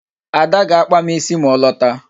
Ada ga-akpa m ịsị ma ọ lọta